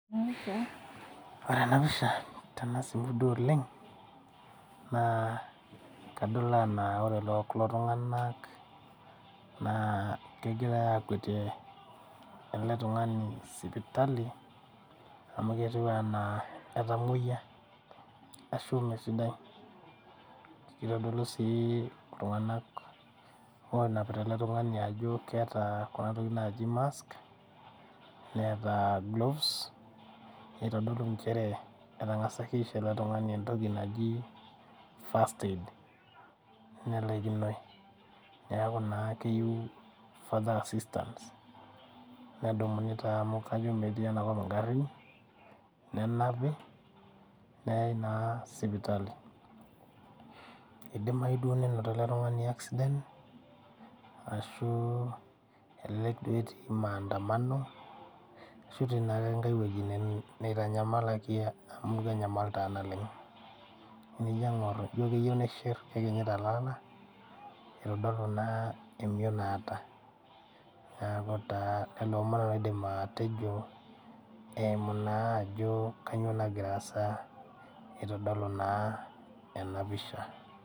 Ore enapisha tenasipu duo oleng, naa kadol anaa ore kulo tung'anak naa kegirai akuetie ele tung'ani sipitali, amu ketiu enaa etamoyia ashu mesidai. Kitodolu si iltung'anak onapita ele tung'ani ajo keeta kuna tokiting naji mask, neeta gloves, nitodolu njere etang'asaki aisho ele tung'ani entoki naji first aid, nelaikinoi. Neeku naa keyieu father assistance, nedumuni taa amu kajo metii enakop igarrin, nenapi neyai naa sipitali. Idimayu duo nenoto ele tung'ani accident, ashu elelek duo etii maandamano, ashu etii na enkae weji neitanyamalaki amu kenyamal taa naleng. Enijo aing'or ijo keyieu nishir kekinyita lala, itodolu naa emion naata. Neeku taa lelo omon nanu aidim atejo eimu naa ajo kanyioo nagira aasa itodolu naa enapisha.